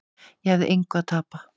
Ég hafði engu að tapa.